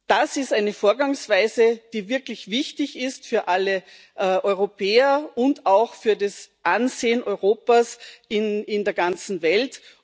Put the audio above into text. Das ist eine Vorgangsweise, die wirklich wichtig ist für alle Europäer und auch für das Ansehen Europas in der ganzen Welt.